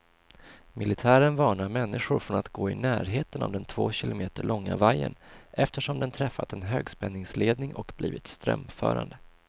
Militären varnar människor från att gå i närheten av den två kilometer långa vajern, eftersom den träffat en högspänningsledning och blivit strömförande.